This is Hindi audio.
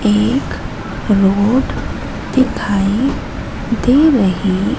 एक रोड दिखाई दे रहे--